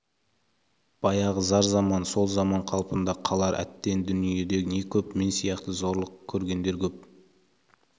баяғы зар заман сол заман қалпында қалар әттен дүниеде не көп мен сияқты зорлық көргендер көп